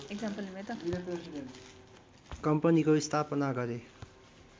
कम्पनीको स्थापना गरे